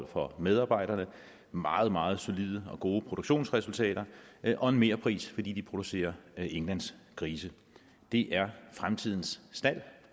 for medarbejderne meget meget solide og gode produktionsresultater og en merpris fordi de producerer englandsgrise det er fremtidens stald